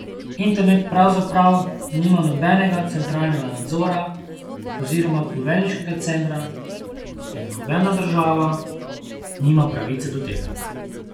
Internet pravzaprav nima nobenega centralnega nadzora oziroma poveljniškega centra in nobena država nima pravice do tega.